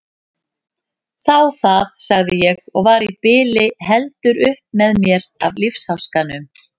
Þá það, sagði ég og var í bili heldur upp með mér af lífsháskanum.